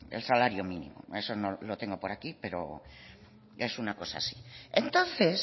el salario mínimo eso lo tengo por aquí pero es una cosa así entonces